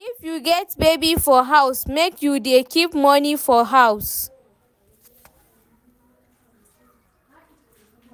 If you get baby for house, make you dey keep moni for house.